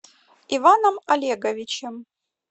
иваном олеговичем